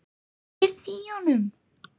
Ég heyrði í honum!